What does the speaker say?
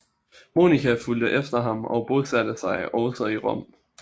Monika fulgte efter ham og bosatte sig også i Rom